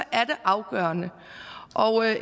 er det afgørende